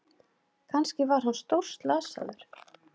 Kannski var hann stórslasaður.